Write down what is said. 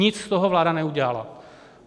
Nic z toho vláda neudělala.